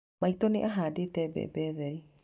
Maitũ nĩ ahanda mbembe theri.